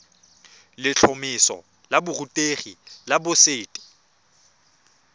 letlhomeso la borutegi la boset